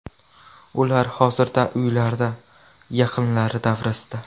Ular hozirda uylarida, yaqinlari davrasida.